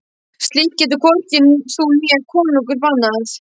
Slíkt getur hvorki þú né konungur bannað.